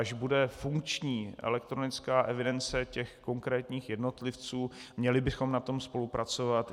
Až bude funkční elektronická evidence těch konkrétních jednotlivců, měli bychom na tom spolupracovat.